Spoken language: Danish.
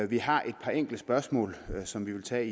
vi har et par enkelte spørgsmål som vi vil tage